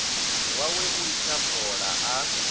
wawe u litsha fola a